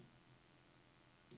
Afslut hjælp og gå til dokument.